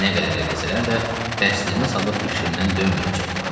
Nə qədər eləsələr də təslimə salıb fikrimdən dönməyəcəkdim.